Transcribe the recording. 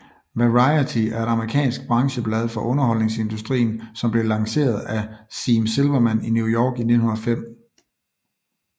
Variety er et amerikansk brancheblad for underholdningsindustrien som blev lanceret af Sime Silverman i New York i 1905